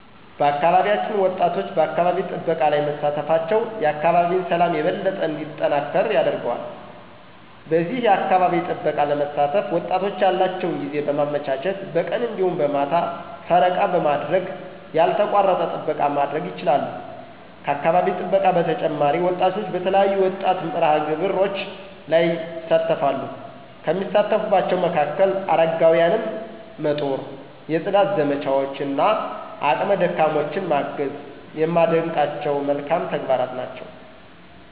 በአካባቢያችን ወጣቶች በአካባቢ ጥበቃ ላይ መሳተፋቸው የአካባቢን ሠላም የበለጠ እንዲጠናከር ያደርጋል። በዚህ የአካባቢ ጥበቃ ለመሳተፍ ወጣቶች ያላቸውን ጊዜ በማመቻቸት በቀን እንዲሁም በማታ ፈረቃ በማድረግ ያልተቋረጠ ጥበቃ ማድረግ ይችላሉ። ከአካባቢ ጥበቃ በተጨማሪ ወጣቶች በተለያዩ የወጣት መርሃ-ግብሮች ላይ ይሣተፈሉ፤ ከሚሳተፉባቸው መካከል፦ አረጋውያንን መጦር፣ የፅዳት ዘመቻዎች እና አቅመ ደካሞችን ማገዝ የማደንቃቸው መልካም ተግባራት ናቸው።